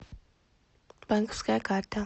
банковская карта